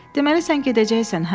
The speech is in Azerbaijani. Deməli sən gedəcəksən, hə?